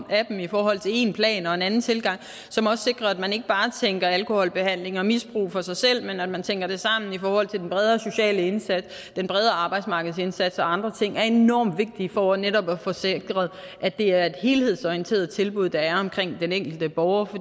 af dem i forhold til en plan og en anden tilgang som også sikrer at man ikke bare tænker alkoholbehandling og misbrug for sig selv men at man tænker det sammen i forhold til den bredere sociale indsats den bredere arbejdsmarkedsindsats og andre ting er enormt vigtigt for netop at få sikret at det er et helhedsorienteret tilbud der er omkring den enkelte borger